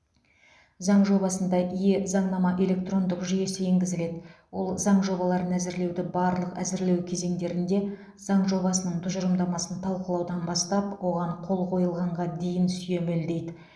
заң жобасында е заңнама электрондық жүйесі енгізіледі ол заң жобаларын әзірлеуді барлық әзірлеу кезеңдерінде заң жобасының тұжырымдамасын талқылаудан бастап оған қол қойылғанға дейін сүйемелдейді